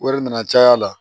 Wari nana caya la